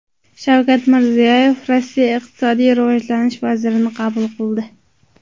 Shavkat Mirziyoyev Rossiya iqtisodiy rivojlanish vazirini qabul qildi.